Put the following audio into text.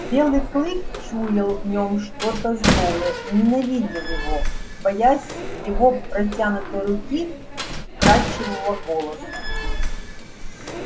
белый клык чуял в нём что-то злое и ненавидел его боясь его протянутой руки и вкрадчивого голоса